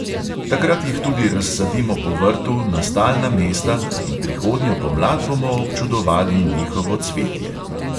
Takrat jih tudi razsadimo po vrtu na stalna mesta in prihodnjo pomlad bomo občudovali njihovo cvetje.